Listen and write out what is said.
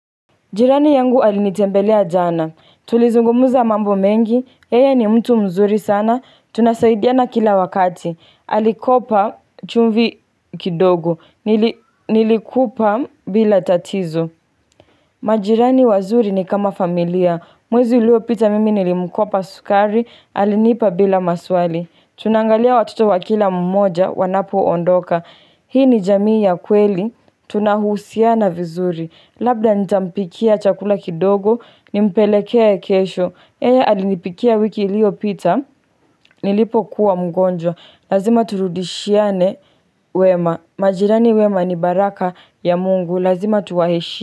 Jirani yangu alinitembelea jana. Tulizungumuza mambo mengi. Yeye ni mtu mzuri sana. Tunasaidiana kila wakati. Alikopa chumvi kidogo. Nilikupa bila tatizo. Majirani wazuri ni kama familia. Mwezi uliopita mimi nilimkopa sukari. Alinipa bila maswali. Tunangalia watoto wakila mmoja wanapo ondoka Hii ni jamii ya kweli Tunahusiana vizuri Labda nitampikia chakula kidogo Nimpeleke kesho yey alinipikia wiki iliopita Nilipokuwa mgonjwa lazima turudishiane wema majirani wema ni baraka ya mungu Lazima tuwaheshimu.